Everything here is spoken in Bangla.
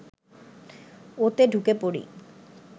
ওতে ঢুকে পড়ি